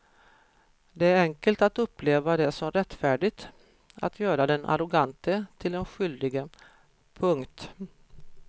Det är enkelt att uppleva det som rättfärdigt att göra den arrogante till den skyldige. punkt